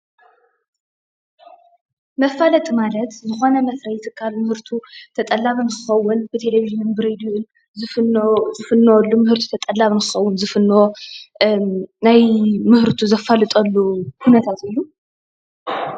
መፋለጢ ማለት ዝኮነ መፍረይ ትካል ምህርቱ ተጠላቢ ንክከውን ብቴሊቭዠን፣ ብሬድዮ ዝፍኖ ዝፍነዎሉ ምህርቱ ተጠላቢ ንክከውን ዝፍኖ ናይ ምህርቱ ዘፋልጠሉ ኩነታት እዩ።